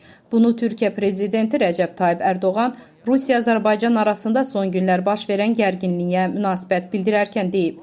Bunu Türkiyə prezidenti Rəcəb Tayyib Ərdoğan Rusiya-Azərbaycan arasında son günlər baş verən gərginliyə münasibət bildirərkən deyib.